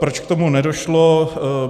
Proč k tomu nedošlo?